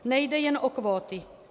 Nejde jen o kvóty.